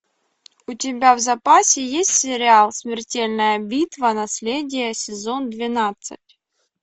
у тебя в запасе есть сериал смертельная битва наследие сезон двенадцать